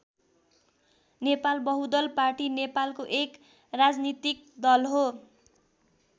Nepal Bahudal party नेपालको एक राजनीतिक दल हो।